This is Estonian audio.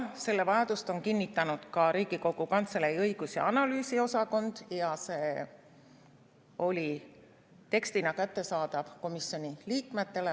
Selle vajadust on kinnitanud ka Riigikogu Kantselei õigus‑ ja analüüsiosakond ja see oli tekstina kättesaadav komisjoni liikmetele.